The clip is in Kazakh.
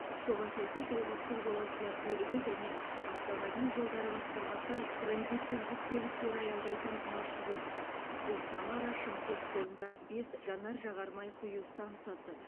соған сәйкес облыстық жолаушылар көлігі және автомобиль жолдары басқармасы транзиттік жүк көліктері аялдайтын маршрутты бұл самара шымкент жолында бес жанар жағар май құю стансасы